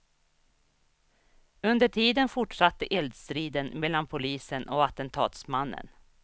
Under tiden fortsatte eldstriden mellan polisen och attentatsmannen.